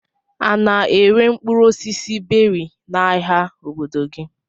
A na-ere mkpụrụ osisi beri n'ahia obodo gị?